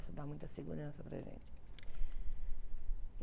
Isso dá muita segurança para a gente.